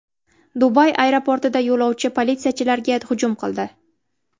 Dubay aeroportida yo‘lovchi politsiyachilarga hujum qildi.